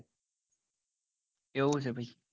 એવું છે ભાઈ